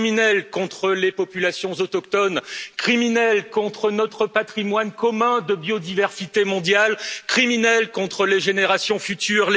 Criminel contre les populations autochtones, criminel contre notre patrimoine commun de biodiversité mondiale, criminel contre les générations futures.